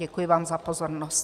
Děkuji vám za pozornost.